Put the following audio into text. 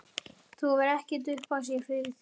Það hefur ekkert upp á sig fyrir þig.